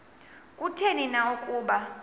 kutheni na ukuba